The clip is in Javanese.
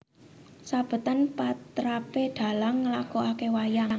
Sabetan patrapé dhalang nglakokake wayang